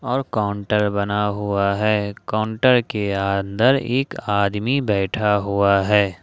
और काउंटर बना हुआ है काउंटर के अंदर एक आदमी बैठा हुआ है।